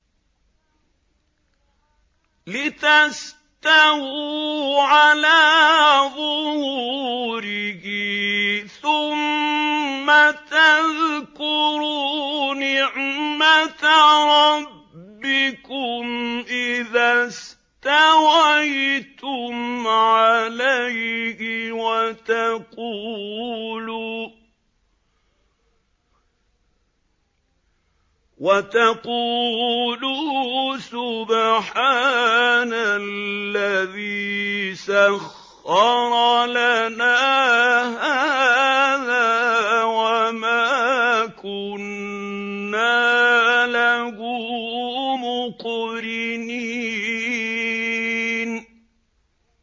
لِتَسْتَوُوا عَلَىٰ ظُهُورِهِ ثُمَّ تَذْكُرُوا نِعْمَةَ رَبِّكُمْ إِذَا اسْتَوَيْتُمْ عَلَيْهِ وَتَقُولُوا سُبْحَانَ الَّذِي سَخَّرَ لَنَا هَٰذَا وَمَا كُنَّا لَهُ مُقْرِنِينَ